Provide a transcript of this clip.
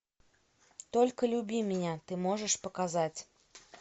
только люби меня ты можешь показать